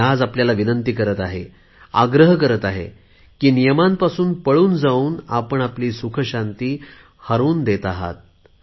मी आज आपल्याला विनंती करत आहे आग्रह करत आहे नियमांपासून पळून जाऊन आपण आपली सुखशांती हटवून बसत आहात